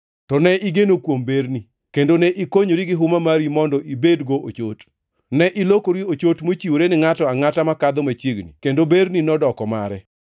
“ ‘To ne igeno kuom berni, kendo ne ikonyori gi huma mari mondo ibedgo ochot. Ne ilokori ochot mochiwore ni ngʼato angʼata makadho machiegni kendo berni nodoko mare.